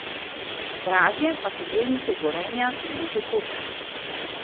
Dražje pa so delnice Gorenja in Luke Koper.